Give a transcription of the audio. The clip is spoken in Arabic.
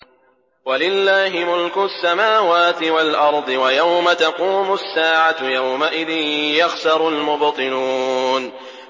وَلِلَّهِ مُلْكُ السَّمَاوَاتِ وَالْأَرْضِ ۚ وَيَوْمَ تَقُومُ السَّاعَةُ يَوْمَئِذٍ يَخْسَرُ الْمُبْطِلُونَ